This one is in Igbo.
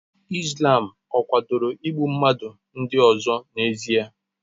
Islam ọ̀ kwadoro igbu mmadụ ndị ọzọ n'ezie?